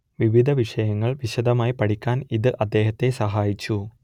വിവിധ വിഷയങ്ങൾ വിശദമായി പഠിക്കാൻ ഇത് അദ്ദേഹത്തെ സഹായിച്ചു